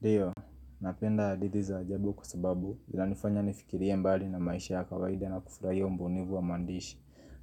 Ndio, napenda hadithi za ajabu kwa sababu, zinanifanya nifikirie mbali na maisha ya kawaida na kufurahia ubunifu wa maandishi